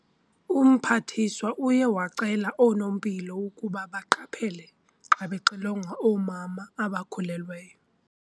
Umphathiswa uye wacela nonoompilo ukuba baqaphele xa bexilonga oomama abakhulelweyo.